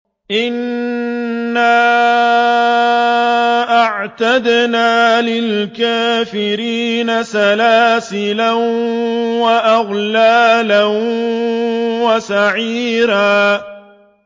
إِنَّا أَعْتَدْنَا لِلْكَافِرِينَ سَلَاسِلَ وَأَغْلَالًا وَسَعِيرًا